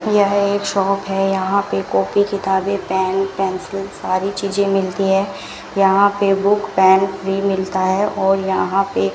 यह एक शॉप है यहां पे कॉपी किताबे पैन पेंसिल सारी चीजें मिलती है यहां पे बुक पैन भी मिलता है और यहां पे --